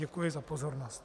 Děkuji za pozornost.